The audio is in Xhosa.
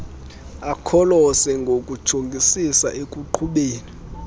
akholose ngokujongisisa ekuqhubeni